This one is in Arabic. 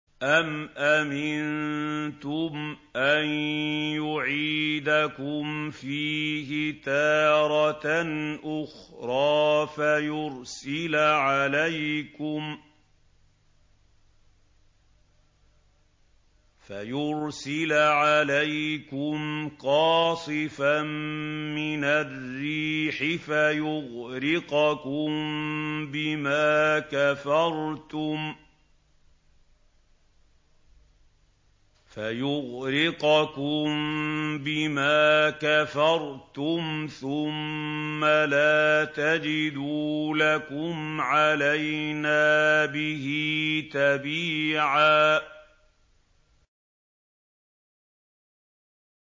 أَمْ أَمِنتُمْ أَن يُعِيدَكُمْ فِيهِ تَارَةً أُخْرَىٰ فَيُرْسِلَ عَلَيْكُمْ قَاصِفًا مِّنَ الرِّيحِ فَيُغْرِقَكُم بِمَا كَفَرْتُمْ ۙ ثُمَّ لَا تَجِدُوا لَكُمْ عَلَيْنَا بِهِ تَبِيعًا